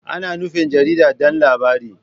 Ana nufin jarida don labarai.